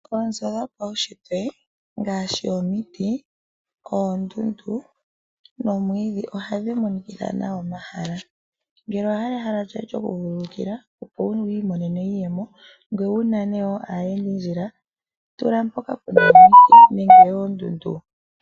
Oonzo dhopaushitwe ngaashi omiti, oondundu nomwiidhi ohadhi monikitha nawa omahala, ngele owa hala ehala lyoye lyoku vululukila opo wu imonene iiyemo ngoye wu nane wo aayendinandjila tula mpoka puna iimeno nenge oondundu.